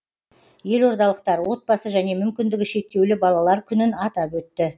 елордалықтар отбасы және мүмкіндігі шектеулі балалар күнін атап өтті